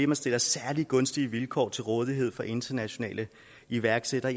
man stiller særlig gunstige vilkår til rådighed for internationale iværksættere